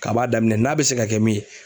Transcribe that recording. K'a b'a daminɛ n'a bɛ se ka kɛ min ye.